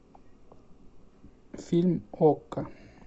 фильм окко